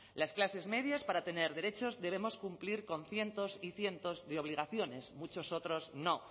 las clases medias para tener derechos debemos cumplir con cientos y cientos de obligaciones muchos otros no